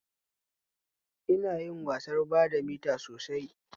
Ina yin wasar badamita sosai